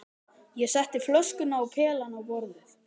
Ég setti flöskuna og pelann á borðið.